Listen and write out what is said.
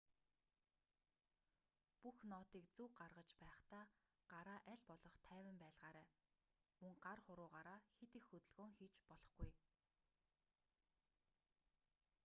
бүх нотыг зөв гаргаж байхдаа гараа аль болох тайван байлгаарай мөн гар хуруугаараа хэт их хөдөлгөөн хийж болохгүй